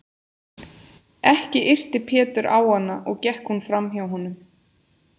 Ekki yrti Pétur á hana og gekk hún fram hjá honum.